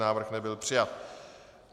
Návrh nebyl přijat.